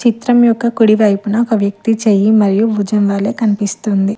చిత్రం యొక్క కొడివైపున ఒక వ్యక్తి చెయ్యి మరియు భుజంగాలే కనిపిస్తుంది.